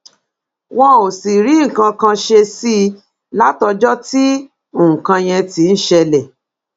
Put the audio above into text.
wọn ò sì rí nǹkan kan ṣe sí i i látọjọ tí nǹkan yẹn ti ń ṣẹlẹ